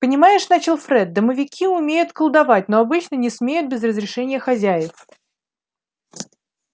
понимаешь начал фред домовики умеют колдовать но обычно не смеют без разрешения хозяев